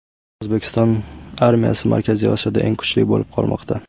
O‘zbekiston armiyasi Markaziy Osiyoda eng kuchli bo‘lib qolmoqda .